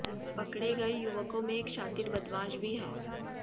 पकड़े गए युवकों में एक शातिर बदमाश भी है